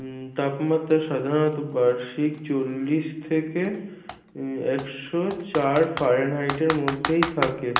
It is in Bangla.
উম তাপমাত্রা সাধারণত বার্ষিক চল্লিশ থেকে উম একশ চার fahrenheit এর মধ্যেই থাকে